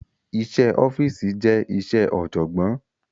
Iṣẹ́ ẹ ọ́fíìsì je iṣẹ ọ̀jọ̀gbọ́n